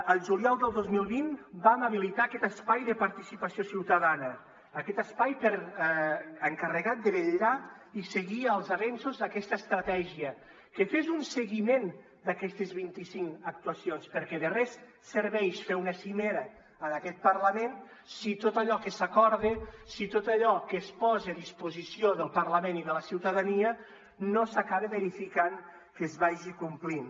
el juliol del dos mil vint vam habilitar aquest espai de participació ciutadana aquest espai encarregat de vetllar i seguir els avenços d’aquesta estratègia que fes un seguiment d’aquestes vinticinc actuacions perquè de res serveix fer una cimera en aquest parlament si tot allò que s’acorda si tot allò que es posa a disposició del parlament i de la ciutadania no s’acaba verificant que es vagi complint